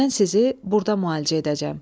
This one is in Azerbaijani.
Mən sizi burda müalicə edəcəm.